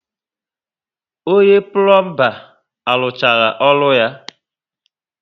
Onye pulomba arụchaala orụ ya?